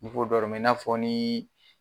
N' ko dɔrɔmɛ i n'a fɔ ni